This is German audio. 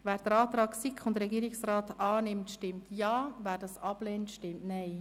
Wer den Antrag von SiK und Regierung annimmt, stimmt Ja, wer dies ablehnt, stimmt Nein.